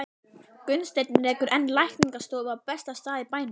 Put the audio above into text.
Gunnsteinn rekur enn lækningastofu á besta stað í bænum.